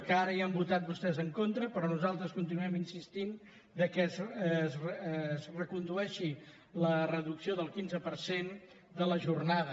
que ara hi han votat vostès en contra però nosaltres continuem insistint que es recondueixi la reducció del quinze per cent de la jornada